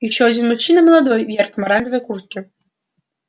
ещё один мужчина молодой в яркой оранжевой куртке